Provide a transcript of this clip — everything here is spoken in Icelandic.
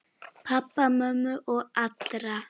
Pabba og mömmu og allra.